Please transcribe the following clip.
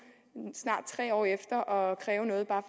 snart tre år efter og kræve noget bare